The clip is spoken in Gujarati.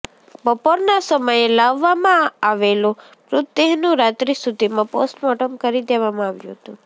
બપોરના સમયે લાવવામાં આવેલો મૃતદેહનું રાત્રી સુધીમાં પોસ્ટમોર્ટમ કરી દેવામાં આવ્યું હતું